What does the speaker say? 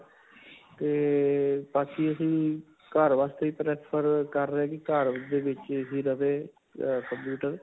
'ਤੇ ਬਾਕੀ ਅਸੀਂ ਘਰ ਵਾਸਤੇ ਹੀ prefer ਕਰ ਰਹੇ ਹਾਂ ਕਿ ਘਰ ਦੇ ਵਿੱਚ ਹੀ ਰਵੇ ਅਅ computer.